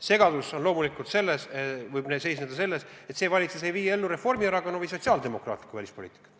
Segadus võib loomulikult seisneda selles, et praegune valitsus ei vii ellu Reformierakonna või sotsiaaldemokraatide välispoliitikat.